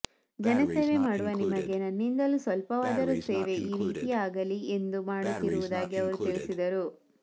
ಜನಸೇವೆ ಮಾಡುವ ನಿಮಗೆ ನನ್ನಿಂದಲೂ ಸ್ವಲ್ಪವಾದರೂ ಸೇವೆ ಈ ರೀತಿಯಾಗಲಿ ಎಂದು ಮಾಡುತ್ತಿರುವುದಾಗಿ ಅವರು ತಿಳಿಸಿದರು